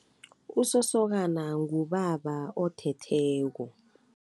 Usosokana ngubaba uthetheko.